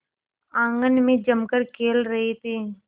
आंगन में जमकर खेल रहे थे